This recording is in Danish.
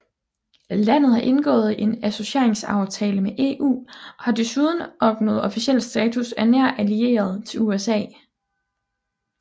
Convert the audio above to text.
Landet har indgået en associeringsaftale med EU og har desuden opnået officiel status af nær allieret til USA